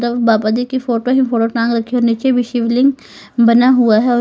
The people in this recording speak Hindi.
तब बाबा जी की फोटो ही फोटो नीचे भी शिवलिंग बना हुआ है।